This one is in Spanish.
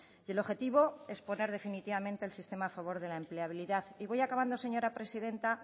y el objetivo es poner definitivamente el sistema a favor de la empleabilidad y voy acabando señora presidenta